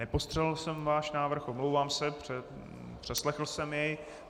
Nepostřehl jsem váš návrh, omlouvám se, přeslechl jsem jej.